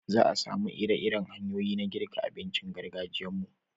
Za a samu iri-iren hanyoyi na girka abincin gargajiyan mu